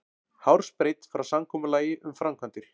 Hársbreidd frá samkomulagi um framkvæmdir